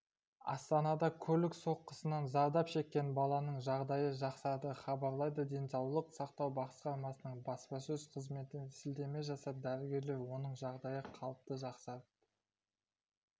астанада көлік соққысынан зардап шеккен баланың жағдайы жақсарды хабарлайды денсаулық сақтау басқармасының баспасөз қызметіне сілтеме жасап дәрігерлер оның жағдайы қалыпты жақсарып